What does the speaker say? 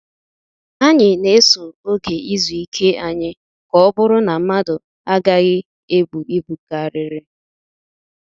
Anyị na-eso oge izu ike anyị ka ọ bụrụ na mmadụ agaghị ebu ibu karịrị.